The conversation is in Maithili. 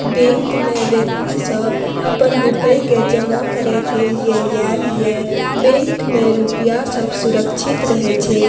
बैंक में व्यक्ति सब अपन रुपए के जमा करे के लिए याल या बैंक में रुपया सब सुरक्षित रहे छै।